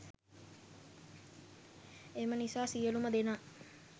එම නිසා සියලුම දෙනා